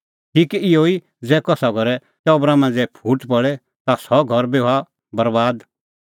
ठीक इहअ ई ज़ै कसा घरे टबरा मांझ़ै फूट पल़े ता सह घर बी हआ बरैबाद